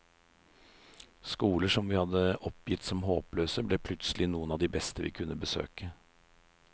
Skoler som vi hadde oppgitt som håpløse, ble plutselig noen av de beste vi kunne besøke.